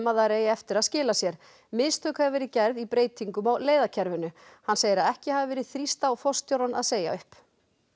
að þær eigi eftir að skila sér mistök hafi verið gerð í breytingum á leiðakerfinu hann segir að ekki hafi verið þrýst á forstjórann að segja upp